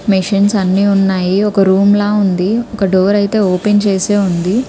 Machines అన్ని ఉన్నాయి. ఒక రూమ్ లా ఉంది. ఒక డోర్ అయితే ఓపెన్ చేసి ఉంది.